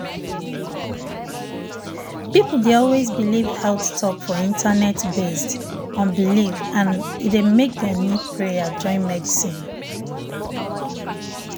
people dey always believe health talk for internet based on belief and e dey make dem need prayer join medicine.